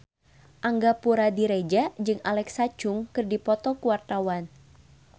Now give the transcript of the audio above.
Angga Puradiredja jeung Alexa Chung keur dipoto ku wartawan